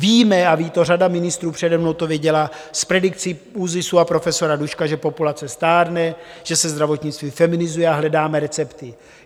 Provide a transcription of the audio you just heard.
Víme a ví to řada ministrů, přede mnou to věděla z predikcí ÚZISu a profesora Duška, že populace stárne, že se zdravotnictví feminizuje, a hledáme recepty.